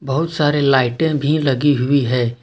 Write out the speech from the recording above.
बहुत सारी लाइटें भी लगी हुई है।